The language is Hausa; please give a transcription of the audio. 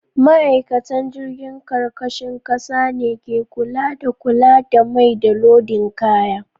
Ma'aikatan jirgin karkashin kasa ne ke kula da kula da mai, da lodin kaya.